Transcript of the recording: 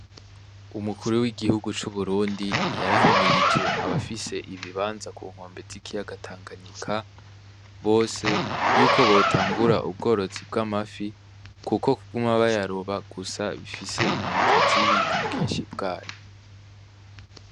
Umukuru w'igihugu c'uburundi yarahimirije abafise ibibanza kunkombe zikiyaga tanganyika, bose yuko botangura yuko botangura ubworozi bw'amafi kuko kuguma kuguma bayaroba gusa bifise zibi ku bwinshi bwayo.